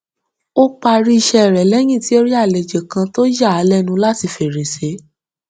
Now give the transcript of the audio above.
ó parí iṣẹ rẹ lẹyìn tí ó rí àléjò kan tó yà á lẹnu láti fèrèsé